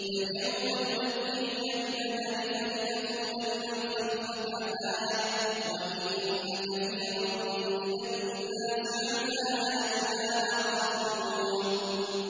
فَالْيَوْمَ نُنَجِّيكَ بِبَدَنِكَ لِتَكُونَ لِمَنْ خَلْفَكَ آيَةً ۚ وَإِنَّ كَثِيرًا مِّنَ النَّاسِ عَنْ آيَاتِنَا لَغَافِلُونَ